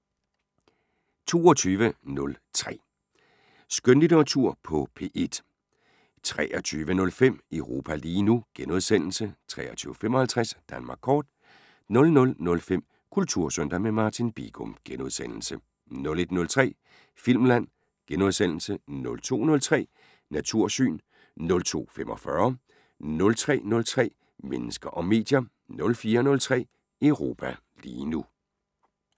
22:03: Skønlitteratur på P1 * 23:05: Europa lige nu * 23:55: Danmark kort 00:05: Kultursøndag – med Martin Bigum * 01:03: Filmland * 02:03: Natursyn * 02:45: Panorama * 03:03: Mennesker og medier * 04:03: Europa lige nu *